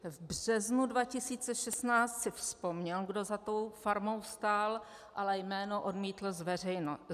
V březnu 2016 si vzpomněl, kdo za tou farmou stál, ale jméno odmítl zveřejnit.